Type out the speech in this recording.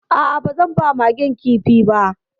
A'a, ba zan ba Magen kifi ba